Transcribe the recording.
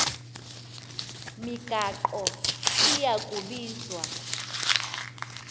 migaqo iya kubizwa